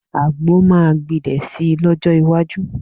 Àgbo máa gbilẹ̀ si lọ́jọ́ iwájú